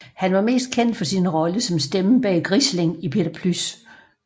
Han var mest kendt for sin rolle som stemmen bag Grisling i Peter Plys